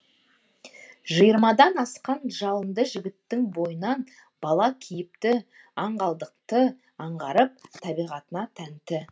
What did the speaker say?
жиырмадан асқан жалынды жігіттің бойынан бала кейіпті аңғалдықты аңғарып табиғатына тәнті